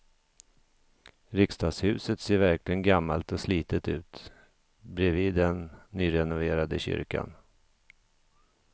Riksdagshuset ser verkligen gammalt och slitet ut bredvid den nyrenoverade kyrkan.